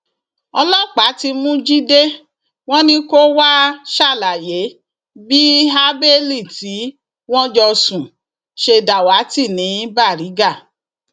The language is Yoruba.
ọlọpàá ti mú jíde wọn ni kó wàá ṣàlàyé bí habeli tí wọn jọ sùn ṣe dàwátì ní baríga